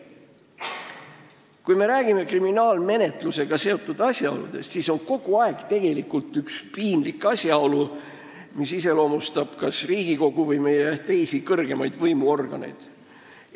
Kui me räägime kriminaalmenetlusega seotud asjaoludest, siis iseloomustab kas Riigikogu või meie teisi kõrgemaid võimuorganeid üks piinlik asjaolu.